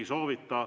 Ei soovita.